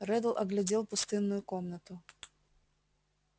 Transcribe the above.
реддл оглядел пустынную комнату